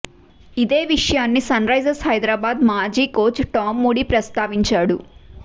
ఇదే విషయాన్ని సన్రైజర్స్ హైదరాబాద్ మాజీ కోచ్ టామ్ మూడీ ప్రస్తావించాడు